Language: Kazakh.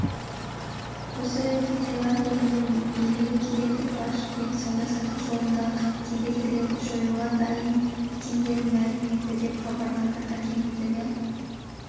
осы ретте тайланд елінің билігі кедендік баж бен сауда-саттық жолындағы кедергілерді жоюға дайын екендерін мәлім етті деп хабарлады агенттігі